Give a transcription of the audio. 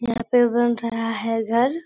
यहाँ पे बन रहा है घर।